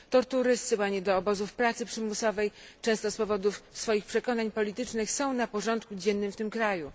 Tortury, zsyłanie do obozów pracy przymusowej, często z powodów swoich przekonań politycznych, są na porządku dziennym w tym kraju.